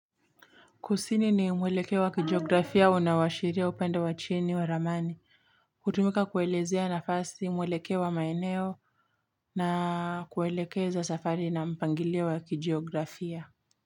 Kusini ni mwelekeo wa kijiografia unawashiria upande wa chini wa ramani. Hutumika kuelezea nafasi mwelekeo wa maeneo na kuelekeza safari na mpangilio wa kijiografia.